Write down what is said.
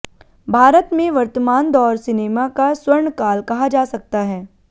भारत में वर्तमान दौर सिनेमा का स्वर्णकाल कहा जा सकता है